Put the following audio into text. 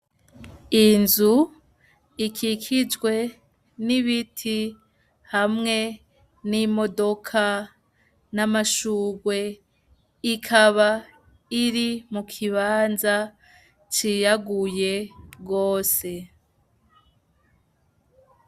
Iyi nzu ,ikikijwe ,n'ibiti, hamwe, n'imodoka, n'amashurwe, ikaba, iri, mu kibanza ,ciyaguye, gose.